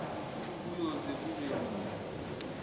kuyoze kube nini